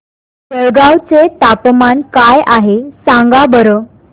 जळगाव चे तापमान काय आहे सांगा बरं